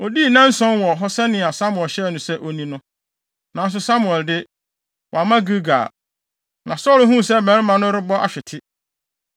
Odii nnanson wɔ hɔ sɛnea Samuel hyɛɛ no sɛ onni no; nanso Samuel de, wamma Gilgal, na Saulo huu sɛ mmarima no rebɔ ahwete.